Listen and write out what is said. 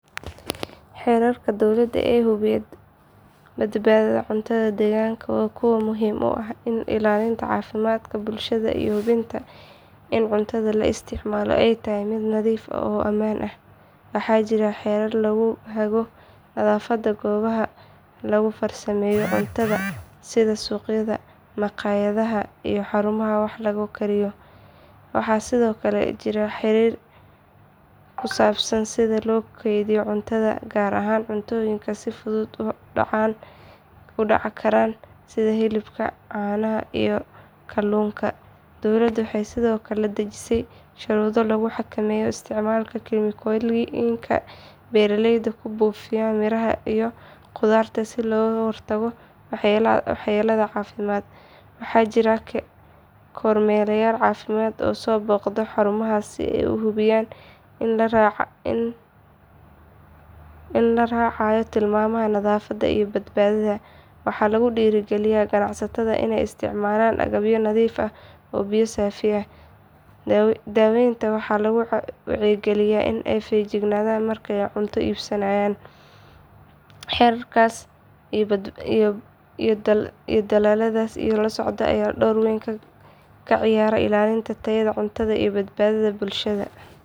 Xeerarka dowladda ee hubiya badbaadada cuntada deegaanka waa kuwo muhiim u ah ilaalinta caafimaadka bulshada iyo hubinta in cuntada la isticmaalo ay tahay mid nadiif ah oo ammaan ah. Waxaa jira xeerar lagu hago nadaafadda goobaha lagu farsameeyo cuntada sida suuqyada, makhaayadaha iyo xarumaha wax lagu kariyo. Waxaa sidoo kale jira xeerar ku saabsan sida loo kaydiyo cuntada, gaar ahaan cuntooyinka si fudud u dhacsan kara sida hilibka, caanaha iyo kalluunka. Dowladda waxay sidoo kale dejisay shuruudo lagu xakameynayo isticmaalka kiimikooyinka beeraleyda ay ku buufiyaan miraha iyo khudaarta si looga hortago waxyeelada caafimaad. Waxaa jira kormeerayaal caafimaad oo soo booqda xarumahaas si ay u hubiyaan in la raacayo tilmaamaha nadaafadda iyo badbaadada. Waxaa lagu dhiirrigeliyaa ganacsatada inay isticmaalaan agabyo nadiif ah iyo biyo saafi ah. Dadweynaha waxaa lagu wacyigeliyaa in ay feejignaadaan marka ay cunto iibsanayaan. Xeerarkaas iyo dadaallada la socda ayaa door weyn ka ciyaara ilaalinta tayada cuntada iyo badbaadada bulshada.